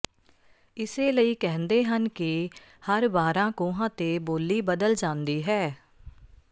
ਇਸੇ ਲਈ ਕਹਿੰਦੇ ਹਨ ਕਿ ਹਰ ਬਾਰ੍ਹਾਂ ਕੋਹਾਂ ਤੇ ਬੋਲੀ ਬਦਲ ਜਾਂਦੀ ਹੈ